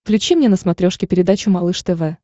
включи мне на смотрешке передачу малыш тв